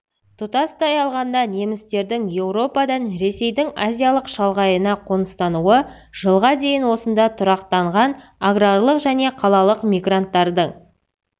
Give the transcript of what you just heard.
тұтастай алғанда немістердің еуропадан ресейдің азиялық шалғайына қоныстануы жылға дейін осында тұрақтанған аграрлық және қалалық мигранттардың